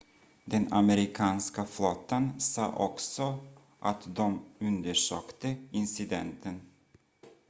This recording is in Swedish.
den amerikanska flottan sa också att de undersökte incidenten